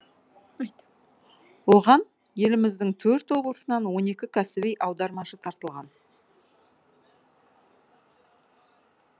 айт оған еліміздің төрт облысынан он екі кәсіби аудармашы тартылған